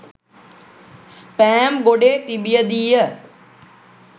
Spam ගොඩේ තිබිය දී ය.